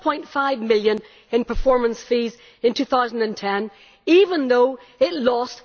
12.5 million in performance fees in 2010, even though it lost